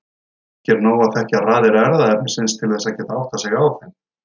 Ekki er nóg að þekkja raðir erfðaefnisins til þess að geta áttað sig á þeim.